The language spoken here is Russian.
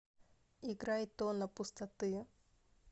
играй тонна пустоты